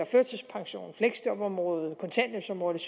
førtidspension fleksjobområdet kontanthjælpsområdet